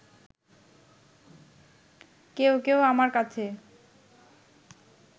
কেউ কেউ আমার কাছে